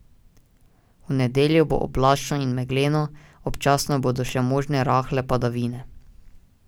V nedeljo bo oblačno in megleno, občasno bodo še možne rahle padavine.